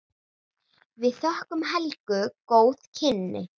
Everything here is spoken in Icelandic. Við þökkum Helgu góð kynni.